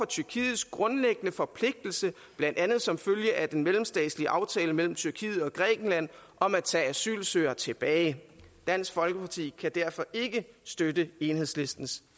tyrkiets grundlæggende forpligtelse blandt andet som følge af den mellemstatslige aftale mellem tyrkiet og grækenland om at tage asylsøgere tilbage dansk folkeparti kan derfor ikke støtte enhedslistens